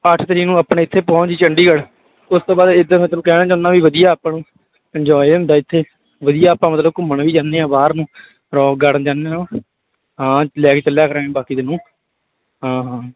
ਅੱਠ ਤਰੀਕ ਨੂੰ ਆਪਣੇ ਇੱਥੇ ਪਹੁੰਚ ਜਾਈਂ ਚੰਡੀਗੜ੍ਹ, ਉਸ ਤੋਂ ਬਾਅਦ ਇਹੀ ਤਾਂ ਮੈਂ ਤੈਨੂੰ ਕਹਿਣਾ ਚਾਹੁਨਾ ਵੀ ਵਧੀਆ ਆਪਾਂ ਨੂੰ enjoy ਹੁੰਦਾ ਇੱਥੇ ਵਧੀਆ ਆਪਾਂ ਮਤਲਬ ਘੁੰਮਣ ਵੀ ਜਾਂਦੇ ਹਾਂ ਬਾਹਰ ਨੂੰ rock garden ਜਾਂਦੇ ਆਂ ਹਾਂ ਲੈ ਕੇ ਚੱਲਿਆ ਕਰਾਂਗੇ ਬਾਕੀ ਤੈਨੂੰ, ਹਾਂ ਹਾਂ